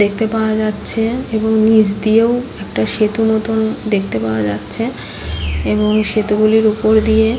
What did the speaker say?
দেখতে পাওয়া যাচ্ছে এবং নিচ দিয়েও একটা সেতু নতুন দেখতে পাওয়া যাচ্ছে এবং সেতুগুলির উপর দিয়ে--